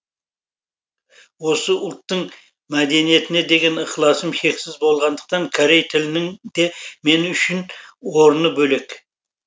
осы ұлттың мәдениетіне деген ықыласым шексіз болғандықтан корей тілінің де мен үшін орыны бөлек